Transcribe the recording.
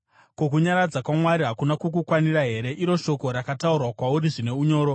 Ko, kunyaradza kwaMwari hakuna kukukwanira here, iro shoko rakataurwa kwauri zvine unyoro?